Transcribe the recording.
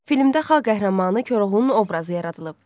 Filmdə xalq qəhrəmanı Koroğlunun obrazı yaradılıb.